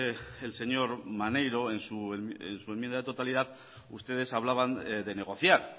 el señor maneiro en su enmienda de totalidad ustedes hablaban de negociar